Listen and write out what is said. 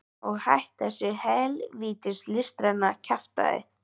Og hætt þessu hel vítis listræna kjaftæði.